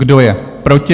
Kdo je proti?